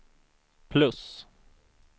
plus